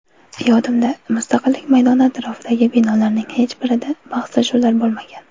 Yodimda, Mustaqillik maydoni atrofidagi binolarning hech birida bahslashuvlar bo‘lmagan.